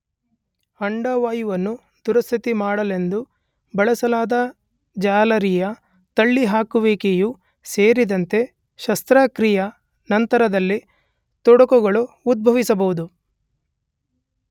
ಅಂಡವಾಯುವನ್ನು ದುರಸ್ತಿ ಮಾಡಲೆಂದು ಬಳಸಲಾದ ಜಾಲರಿಯ ತಳ್ಳಿಹಾಕುವಿಕೆಯೂ ಸೇರಿದಂತೆ ಶಸ್ತ್ರಕ್ರಿಯೆಯ, ನಂತರದಲ್ಲಿ ತೊಡಕುಗಳು ಉದ್ಭವಿಸಬಹುದು.